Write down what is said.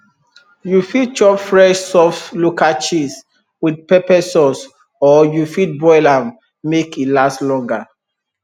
you fit chop fresh soft local cheese with pepper sauce or you fit boil am make e last longer